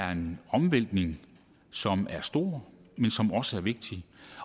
er en omvæltning som er stor men som også er vigtig